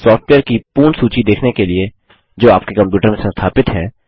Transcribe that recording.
software की पूर्ण सूची देखने के लिए जो आपके कंप्यूटर में संस्थापित है